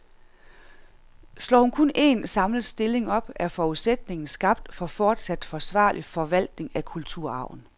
Slår hun kun en, samlet stilling op, er forudsætningen skabt for fortsat forsvarlig forvaltning af kulturarven.